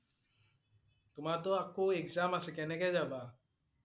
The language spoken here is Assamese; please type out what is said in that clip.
তোমাৰতো আকৌ exam আছে কেনেকৈ যাবা?